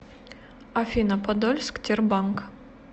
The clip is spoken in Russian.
афина подольск тербанк